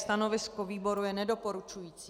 Stanovisko výboru je nedoporučující.